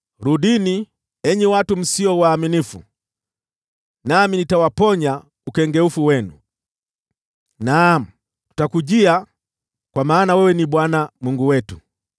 “Rudini, enyi watu msio waaminifu, nami nitawaponya ukengeufu wenu.” “Naam, tutakuja kwako, kwa maana wewe ni Bwana Mungu wetu.